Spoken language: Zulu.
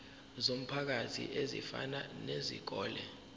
zomphakathi ezifana nezikole